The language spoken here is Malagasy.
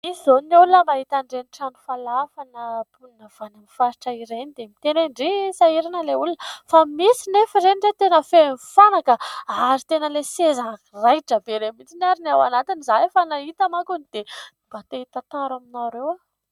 Misy izao ny olona mahita ireny trano falafa ireny na olona avy any amin'ny faritra ireny dia miteny hoe ndry sahirana ilay olona, fa misy nefa izy ireny tena feno fanaka ary tena ilay seza raitra be ireny mihitsy ary ny ao anatiny, izahay efa nahita mankony dia mba te hitantara aminareo aho.